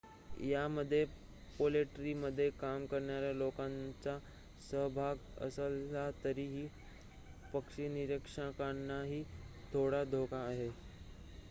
यामध्ये पोल्ट्रीमध्ये काम करणाऱ्या लोकांचा सहभाग असला तरी पक्षीनिरीक्षकांनाही थोडा धोका आहे